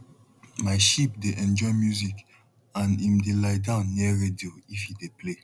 my sheep dey enjoy music and em dey lie down near radio if e dey play